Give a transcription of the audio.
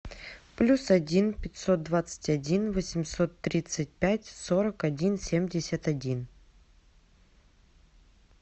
плюс один пятьсот двадцать один восемьсот тридцать пять сорок один семьдесят один